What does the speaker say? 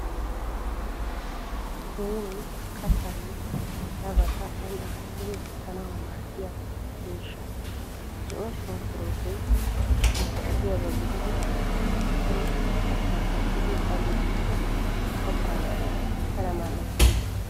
Joynee kattaanne harabata aani aattidi wottanawu maaddiyaa miishshaa Zo'o sunkkuruutoy unkkotiyaaba gididi asay kattaa kattiiddi a gujjikko kattaa pala mal'ettees.